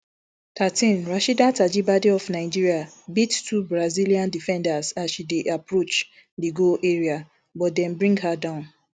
thirteen rasheedat ajibade of nigeria beat two brazilian defenders as she dey approach di goal area but dem bring her down